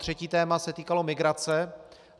Třetí téma se týkalo migrace.